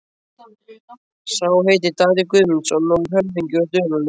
Sá heitir Daði Guðmundsson og er höfðingi úr Dölunum.